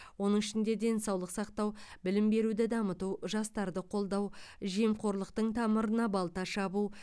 оның ішінде денсаулық сақтау білім беруді дамыту жастарды қолдау жемқорлықтың тамырына балта шабу